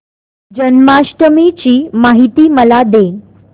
जन्माष्टमी ची माहिती मला दे